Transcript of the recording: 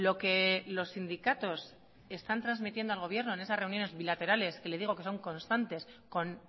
que los sindicatos están trasmitiendo al gobierno en esas reuniones bilaterales que le digo que son constantes con